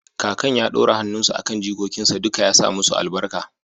kakan ya ɗora hannunsa a kan jikokinsa duka ya sa musu albarka